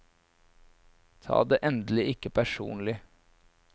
Ta det endelig ikke personlig.